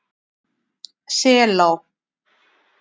Selá